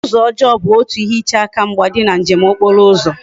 Uzo ojoo bu otu ihe iche aka mgba di na njem okporo uzo